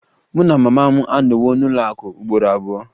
Mụ na mama m anọwo n'ụlọ akụ ugboro abụọ